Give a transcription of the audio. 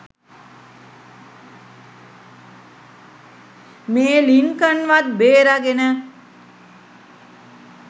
මේ ලින්කන්වත් බේරගෙන